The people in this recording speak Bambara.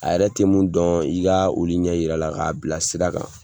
A yɛrɛ te min dɔn, i ka olu ɲɛ jira a la k'a bila sira kan.